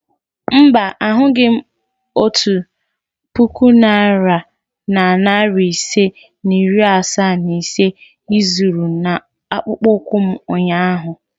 Mba, ahụghị m otu puku naira na narị isii na iri asaa na ise ị zoro n'akpụkpọ ụkwụ m ụnyahụ.